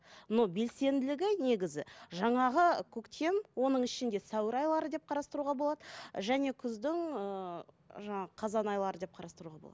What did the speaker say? но белсенділігі негізі жаңағы көктем оның ішінде сәуір айлары деп қарастыруға болады және күздің ыыы жаңағы қазан айлары деп қарастыруға болады